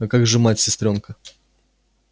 а как же мать сестрёнка